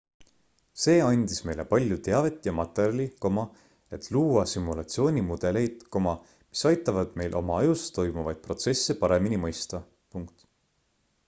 see andis meile palju teavet ja materjali et luua simulatsioonimudeleid mis aitavad meil oma ajus toimuvaid protsesse paremini mõista